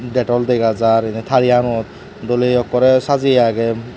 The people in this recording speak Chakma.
detol degajar enni tariyanot doley ekkorey sajjeye aagey.